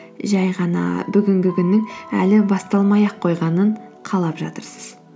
жай ғана бүгінгі күннің әлі басталмай ақ қойғанын қалап жатырсыз